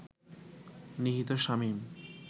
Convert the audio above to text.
নিহত শামীম